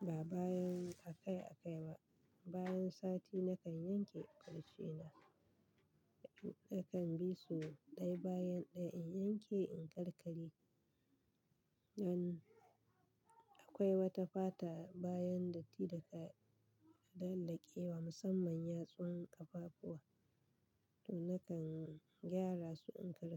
ba bayan akai-akai ba, bayan sati nakan yanke farce na. Nakan bi su ɗaya bayan ɗaya, in yanke, in karkare. An-- akwai wata fata bayan datti da ka, ka dandankewa musamman yatsun ƙafafuwa to nakan gyara su, in karkare.